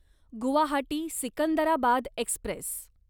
Guwahati Secunderabad Express